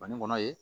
Fani kɔnɔ ye